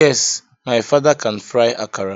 Yes, my father can fry akara.